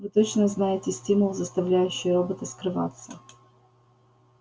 вы точно знаете стимул заставляющий робота скрываться